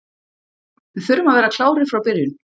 Við þurfum að vera klárir frá byrjun.